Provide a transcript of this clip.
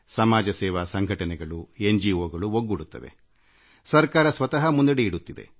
ಸಮಾಜ ಸೇವಾ ಸಂಘಟನೆಗಳು ಸರ್ಕಾರೇತರ ಸಂಸ್ಥೆಗಳು ಒಗ್ಗೂಡುತ್ತವೆಸರ್ಕಾರ ಸ್ವತಃ ಮುಂದಡಿಯಿಡುತ್ತದೆ